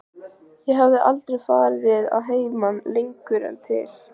Ég hafði aldrei farið að heiman lengur en til